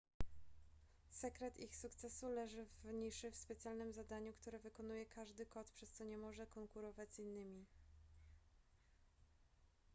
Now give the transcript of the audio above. sekret ich sukcesu leży w niszy w specjalnym zadaniu które wykonuje każdy kot przez co nie może konkurować z innymi